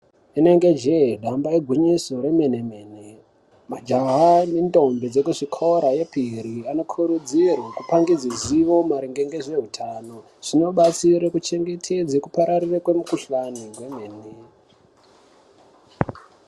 Inenge jee , damba igwinyiso remene mene , majaha nentombi dzekuzvikora yepiri anokurudzirwe kupangidze zivo maringe ngezveutano , zvinobatsire kuchengetedza kupararire kwemukuhlane kwenemene.